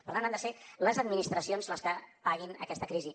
per tant han de ser les administracions les que paguin aquesta crisi